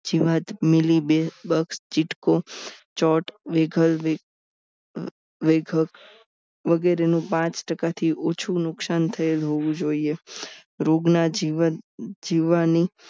જીવાત મિલી ચીટકો ચોટ વિઘલ વગેરેનું પાંચ ટકાથી ઓછું નુકસાન થયેલ હોવું જોઈએ રોગના જીવન જીવવાની